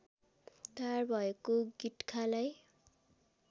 तयार भएको गिट्खालाई